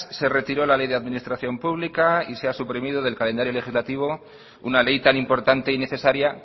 se retiró la ley de administración pública y se ha suprimido del calendario legislativo una ley tan importante y necesaria